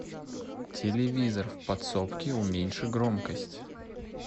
телевизор в подсобке уменьши громкость